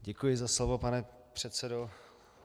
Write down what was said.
Děkuji za slovo, pane předsedo.